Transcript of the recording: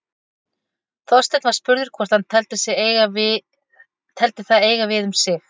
Þorsteinn var spurður hvort hann teldi það eiga við um sig.